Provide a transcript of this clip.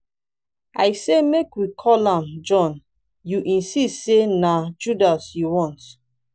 i say make we call am john you insist say na judas you want